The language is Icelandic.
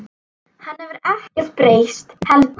Hann hefur ekkert breyst heldur.